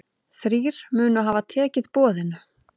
Þrír munu hafa tekið boðinu.